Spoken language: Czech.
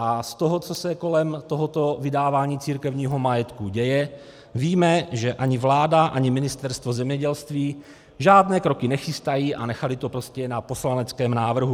A z toho, co se kolem tohoto vydávání církevního majetku děje, víme, že ani vláda ani Ministerstvo zemědělství žádné kroky nechystají a nechaly to prostě na poslaneckém návrhu.